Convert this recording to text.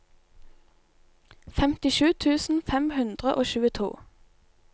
femtisju tusen fem hundre og tjueto